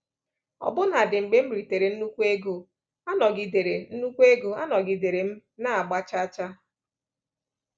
Ọbụna dị mgbe m ritere nnukwu ego, anọgidere nnukwu ego, anọgidere m na-agba chaa chaa.